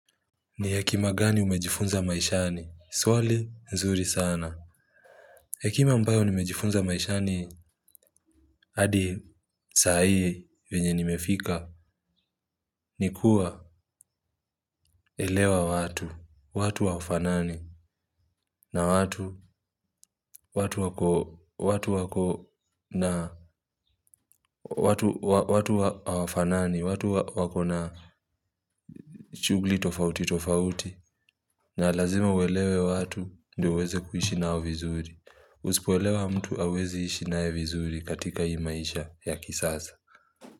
Ni hekima gani umejifunza maishani? Swali, nzuri sana. Hekima ambayo nimejifunza maishani, hadi saa hii vyenye nimefika, ni kuwa elewa watu, watu hawafanani, na watu, watu wako, watu wako, na, watu hawafanani, watu wako na shughuli tofauti tofauti, na lazima uelewe watu ndiyo uweze kuishi nao vizuri. Uzipoelewa mtu hauwezi ishi naye vizuri katika hii maisha ya kisasa.